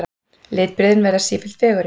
Litbrigðin verða sífellt fegurri.